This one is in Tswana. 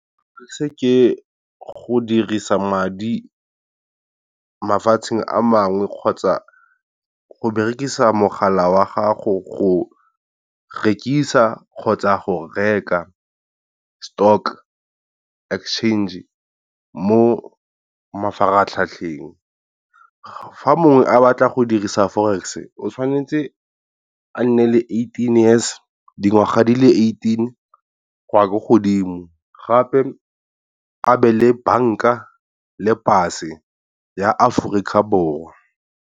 Se ke go dirisa madi mafatsheng a mangwe kgotsa go berekisa mogala wa gago go rekisa kgotsa go reka stock exchange mo mafaratlhatlheng, fa mongwe a batla go dirisa Forex o tshwanetse a nne le eighteen years, dingwaga di le eighteen go ya ko godimo, gape a be le banka le pase ya Aforika Borwa.